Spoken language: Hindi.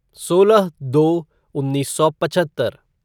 सोलह दो उन्नीस सौ पचहत्तर